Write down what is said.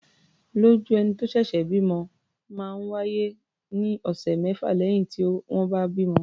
Ìọ́jú ẹni tó ṣẹ̀ṣẹ̀ bímọ máa ń wá́yé ní ọ̀sẹ̀ mẹ́fà lẹ́yìn tí wọ́n bá bímọ.